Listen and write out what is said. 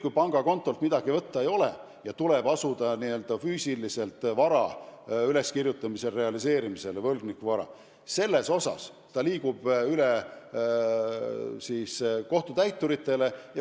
Kui pangakontolt midagi võtta ei ole ja tuleb asuda võlgniku füüsilist vara üles kirjutama ja realiseerima, siis asi liigub kohtutäiturite kätte.